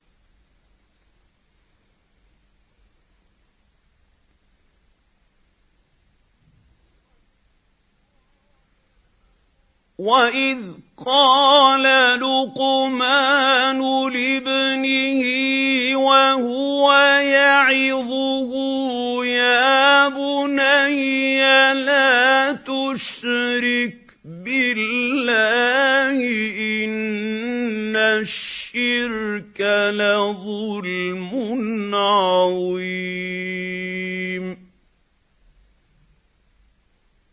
وَإِذْ قَالَ لُقْمَانُ لِابْنِهِ وَهُوَ يَعِظُهُ يَا بُنَيَّ لَا تُشْرِكْ بِاللَّهِ ۖ إِنَّ الشِّرْكَ لَظُلْمٌ عَظِيمٌ